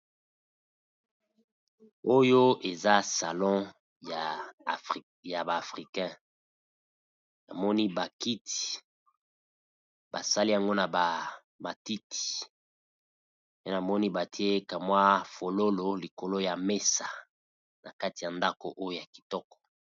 Oyo eza salon ya ba africain, na moni ba kiti ba sali yango na ba matiti pe namoni batie kamwa fololo likolo ya mesa na kati ya ndako oyo ya kitoko.